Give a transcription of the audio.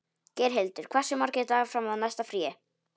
Geirhildur, hversu margir dagar fram að næsta fríi?